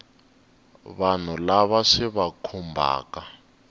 vanhu lava swi va khumbhaka